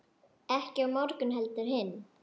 Ekki á morgun heldur hinn.